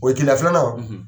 O ye keleya filanan,